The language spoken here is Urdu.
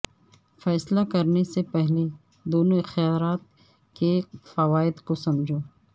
فیصلہ کرنے سے پہلے دونوں اختیارات کے فوائد کو سمجھو